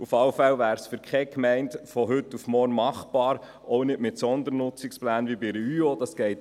Auf alle Fälle wäre es für keine Gemeinde von heute auf morgen machbar, auch nicht mit Sondernutzungsplänen wie bei der Überbauungsordnung (UeO).